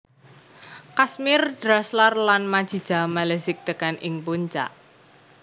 Kazmir Draslar lan Majija Malezic tekan ing puncak